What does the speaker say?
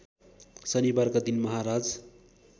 शनिबारका दिन महाराज